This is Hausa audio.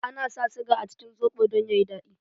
Ana sa siga a cikin soɓo don ya yi daɗi.